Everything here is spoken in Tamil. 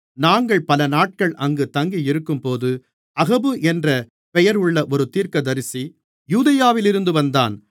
நாங்கள் பல நாட்கள் அங்கு தங்கியிருக்கும்போது அகபு என்ற பெயர் உள்ள ஒரு தீர்க்கதரிசி யூதேயாவிலிருந்து வந்தான்